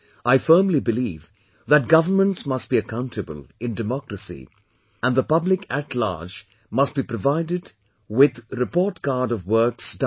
I firmly believe that governments must be accountable in democracy and the public at large must be provided with report card of works done